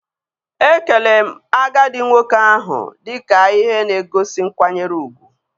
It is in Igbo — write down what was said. Ekele m agadi nwoke ahụ dike ihe na-egosi nkwanyere ugwu